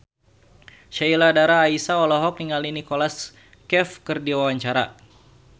Sheila Dara Aisha olohok ningali Nicholas Cafe keur diwawancara